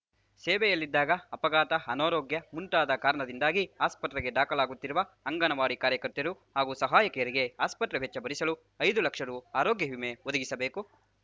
ಸೇವೆಯಲ್ಲಿದ್ದಾಗ ಅಪಘಾತ ಅನಾರೋಗ್ಯ ಮುಂತಾದ ಕಾರಣದಿಂದಾಗಿ ಆಸ್ಪತ್ರೆಗೆ ದಾಖಲಾಗುತ್ತಿರುವ ಅಂಗನವಾಡಿ ಕಾರ್ಯಕರ್ತೆಯರು ಹಾಗೂ ಸಹಾಯಕಿಯರಿಗೆ ಆಸ್ಪತ್ರೆ ವೆಚ್ಚ ಭರಿಸಲು ಐದು ಲಕ್ಷ ರುಆರೋಗ್ಯ ವಿಮೆ ಒದಗಿಸಬೇಕು